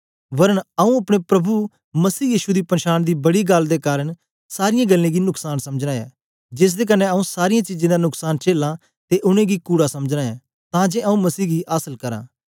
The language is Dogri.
वरन आऊँ अपने प्रभु मसीह यीशु दी पन्शान दी बड़ी गल्ल दे कारन सारीयें गल्लें गी नुकसान समझना ऐं जेसदे कन्ने आऊँ सारीयें चीजें दा नुकसान चेलां ते उनेंगी कूड़ा समझना ऐं तां जे आऊँ मसीह गी आसल करां